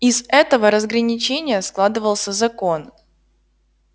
из этого разграничения складывался закон